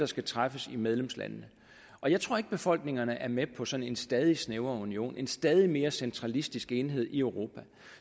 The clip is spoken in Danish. skal træffes i medlemslandene jeg tror ikke befolkningerne er med på sådan en stadig snævrere union en stadig mere centralistisk enhed i europa